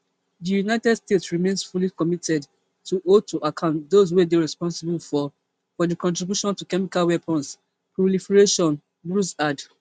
di united states remain fully committed to hold to account those wey dey responsible for for di contribution to chemical weapons proliferation bruce add